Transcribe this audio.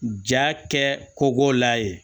Ja kɛ kogola ye